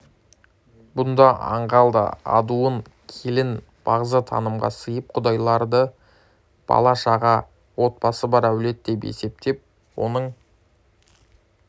бұнда аңғал да адуын келін бағзы танымға сайып құдайды бала-шаға отбасы бар әулет деп есептеп оның